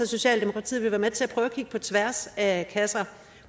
socialdemokratiet vil være med til at prøve at kigge på tværs af kasser